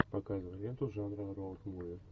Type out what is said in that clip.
показывай ленту жанра роуд муви